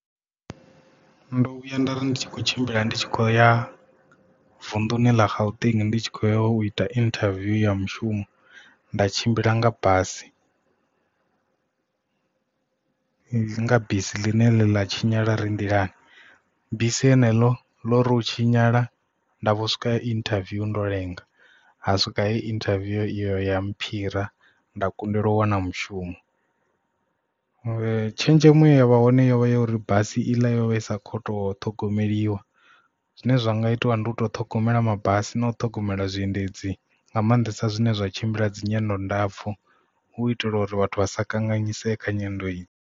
Ndo vhuya nda ri ndi tshi kho tshimbila ndi tshi kho ya vunḓuni ḽa gauteng ndi tshi kho ita interview ya mushumo nda tshimbila nga basi nga bisi ḽine ḽa tshinyala ri nḓilani bisi heneḽo ḽo ri u tshinyala nda vho swika inthaviwu ndo lenga ha swika heyi interview iyo ya mphire nda kundelwa u wana mushumo tshenzhemo ya vha hone yovha ya uri basi i ḽa yovha isa khoto ṱhogomeliwa zwine zwa nga itiwa ndi u to ṱhogomela mabasi na u ṱhogomela zwiendedzi nga maanḓesa zwine zwa tshimbila dzi nyendo ndapfu u itela uri vhathu vha sa kanganyisea kha nyendo i.